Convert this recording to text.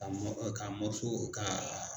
K'a mɔ k'a kaa